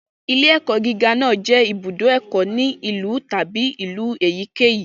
Ilé-ẹ̀kọ́ gíga náà jẹ́ ibùdó ẹ̀kọ́ ní ìlú tàbí ìlú èyíkéyìí.